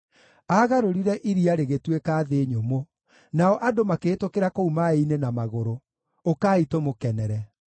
Aagarũrire iria rĩgĩtuĩka thĩ nyũmũ, nao andũ makĩhĩtũkĩra kũu maaĩ-inĩ na magũrũ; ũkai, tũmũkenere.